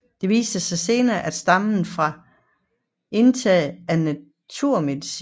Det viste sig senere at stamme fra indtag af naturmedicin